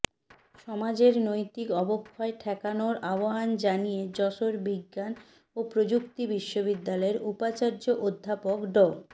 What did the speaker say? সমাজের নৈতিক অবক্ষয় ঠেকানোর আহ্বান জানিয়ে যশোর বিজ্ঞান ও প্রযুক্তি বিশ্ববিদ্যালয়ের উপাচার্য অধ্যাপক ড